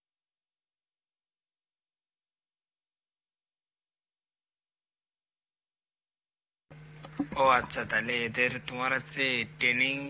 ও আচ্ছা তালে এদের তোমার হচ্ছে training